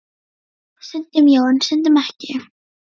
Stundum já, en stundum ekki.